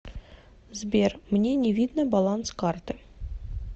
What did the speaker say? сбер мне не видно баланс карты